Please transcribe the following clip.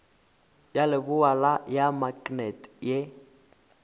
ya leboa ya maknete ye